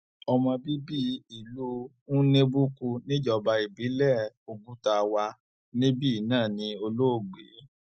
ọmọ bíbí ìlú nnebukwu níjọba ìbílẹ oguta wà níbí náà ní olóògbé